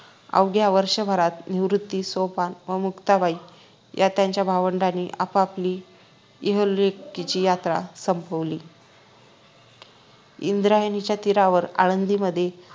अवघ्या वर्षभरात निवृत्ती सोपान व मुक्ताबाई या त्यांच्या भावंडानी आपआपली इहलोकाची यात्रा संपवली इंद्रायणीच्या तीरावर आळंदीमध्ये